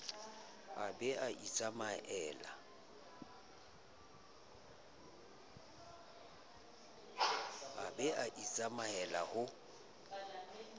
a be a itsamaele ho